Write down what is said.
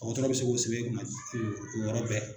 Mɔgɔtɔrɔ bɛ se k'o sɛbɛ i kunna o yɔrɔ bɛɛ